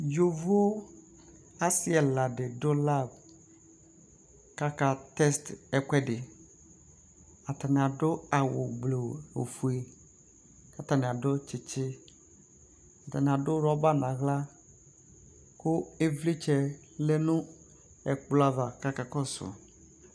Yovo asɩ ɛla dɩnɩ dʋ lav Atanɩ adʋ awʋ blu ofue katanɩ adʋ tsɩtsɩ,atanɩ adʋ rɔba naɣla, kʋ ɩvlɩtsɛ yǝ nʋ ɛkplɔ ava kaka kɔsʋ